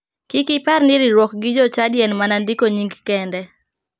Kik ipar ni riwruok gi jochadi en mana ndiko nying kende.